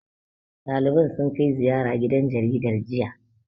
Ɗaliban sun kai ziyara gidan jaridar, jiya.